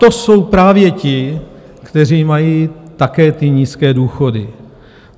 To jsou právě ti, kteří mají také ty nízké důchody.